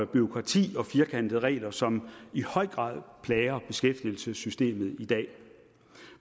bureaukrati og firkantede regler som i høj grad plager beskæftigelsessystemet i dag